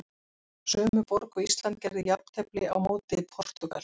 Sömu borg og Ísland gerði jafntefli á móti Portúgal.